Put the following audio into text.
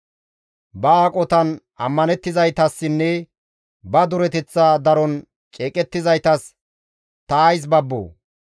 Ba aqotan ammanettizaytassinne ba dureteththa daron ceeqettizaytas ta ays babboo?